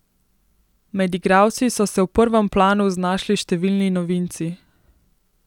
Med igralci so se v prvem planu znašli številni novinci.